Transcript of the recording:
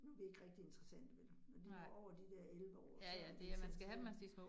Nu vi ikke rigtig interessante vel, når de når over de der 11 år, så er det ikke så tit